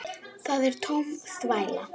Það er tóm þvæla.